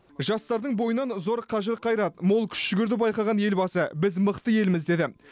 жастардың бойынан зор қажыр қайрат мол күш жігерді байқаған елбасы біз мықты елміз деді